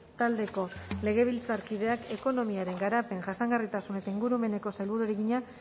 taldeko legebiltzarkideak ekonomiaren garapen jasangarritasun eta ingurumeneko sailburuari egina